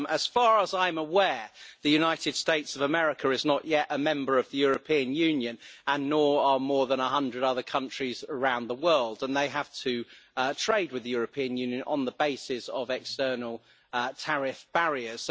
As far as I am aware, the United States of America is not yet a member of the European Union and nor are more than 100 other countries around the world, and they have to trade with the European Union on the basis of external tariff barriers.